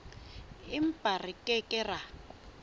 empa re ke ke ra